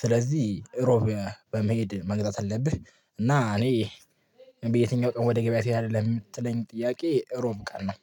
ስለዚህ እሮብ በመሄድ መግዛት አለብህ። እና እኔ በየትኛው ቀን ወደ ገበያ ትሄዳለህ? ለምትለኝ ጥያቄ ሮብ ቀን ነው